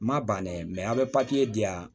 N ma ban dɛ an bɛ papiye di yan